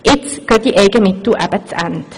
Jetzt gehen diese Eigenmittel eben zu Ende.